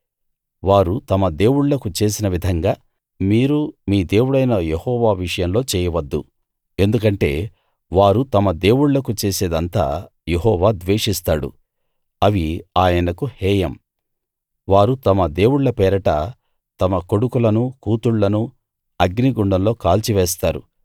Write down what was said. వారు తమ దేవుళ్ళకు చేసిన విధంగా మీరు మీ దేవుడైన యెహోవా విషయంలో చేయవద్దు ఎందుకంటే వారు తమ దేవుళ్ళకు చేసేదంతా యెహోవా ద్వేషిస్తాడు అవి ఆయనకు హేయం వారు తమ దేవుళ్ళ పేరట తమ కొడుకులనూ కూతుళ్ళనూ అగ్నిగుండంలో కాల్చివేస్తారు